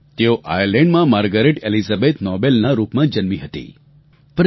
તેઓ આયરલેન્ડમાં Margaret Elizabeth નોબેલના રૂપમાં જન્મી હતી પરંતુ